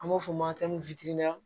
An b'o f'o ma